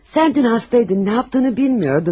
Sən dünən xəstəydin, nə etdiyini bilmirdin.